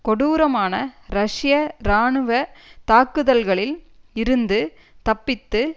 கொடூரமான ரஷ்ய இராணுவ தாக்குதல்களில் இருந்து தப்பித்து